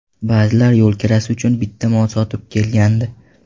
Ba’zilar yo‘l kirasi uchun bitta mol sotib kelgandi.